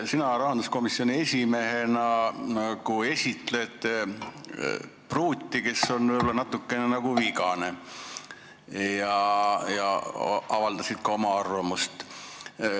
Sina rahanduskomisjoni esimehena nagu esitled pruuti, kes on võib-olla natukene vigane, ja avaldasid ka oma arvamust.